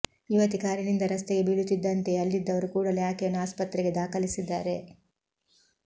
ಯುವತಿ ಕಾರಿನಿಂದ ರಸ್ತೆಗೆ ಬೀಳುತ್ತಿದ್ದಂತೆಯೇ ಅಲ್ಲಿದ್ದವರು ಕೂಡಲೇ ಆಕೆಯನ್ನು ಆಸ್ಪತ್ರೆಗೆ ದಾಖಲಿಸಿದ್ದಾರೆ